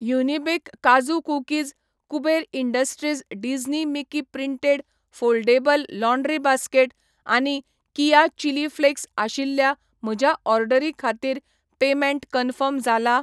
युनिबिक काजू cookies, Kuber industries Disney Mickey printed foldable laundry basket आनी Keya chilli flakes आशिल्ल्या म्हज्या ऑर्डरी खातीर पेमेंट कन्फर्म जाला ?